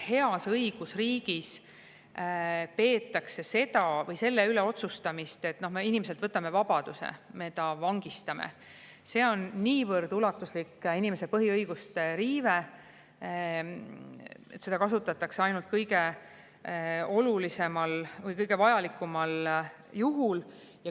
Heas õigusriigis peetakse seda või selle üle otsustamist, et me võtame inimeselt vabaduse, me vangistame ta, niivõrd ulatuslikuks inimese põhiõiguste riiveks, et seda kasutatakse ainult juhul, kui see on tõesti vajalik.